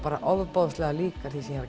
ofboðslega lík því sem ég